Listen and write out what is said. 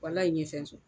Walayi fɛn sɔrɔ